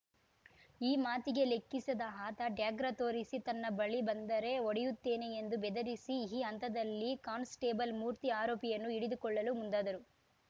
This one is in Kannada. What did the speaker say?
ಈ ಮಾತಿಗೆ ಲೆಕ್ಕಿಸದೆ ಆತ ಡ್ಯಾಗರ ತೋರಿಸಿ ತನ್ನ ಬಳಿ ಬಂದರೆ ಹೊಡೆಯುತ್ತೇನೆ ಎಂದು ಬೆದರಿಸಿ ಈ ಹಂತದಲ್ಲಿ ಕಾನ್‌ಸ್ಟೇಬಲ್‌ ಮೂರ್ತಿ ಆರೋಪಿಯನ್ನು ಹಿಡಿದುಕೊಳ್ಳಲು ಮುಂದಾದರು